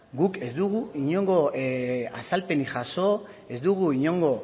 guk ez dugu inongo azalpenik jaso ez dugu inongo